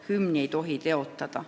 Hümni ei tohi teotada.